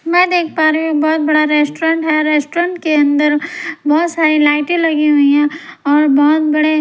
मैं देख पा रही हूं बहुत बड़ा रेस्टोरेंट है रेस्टोरेंट के अंदर बहुत सारी लाइटें लगी हुई है और बहुत बड़े--